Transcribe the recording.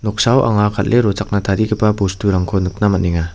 noksao anga kal·e rochakna tarigipa bosturangko nikna man·enga.